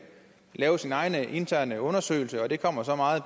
vil lave sin egen interne undersøgelse og det kommer så meget